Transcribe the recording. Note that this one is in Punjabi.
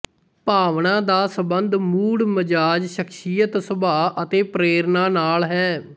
ਭਾਵਨਾ ਦਾ ਸੰਬੰਧ ਮੂਡ ਮਜ਼ਾਜ ਸ਼ਖਸੀਅਤ ਸੁਭਾਅ ਅਤੇ ਪ੍ਰੇਰਨਾ ਨਾਲ ਹੈ